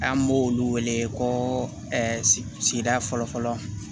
An b'olu wele ko sigida fɔlɔ fɔlɔ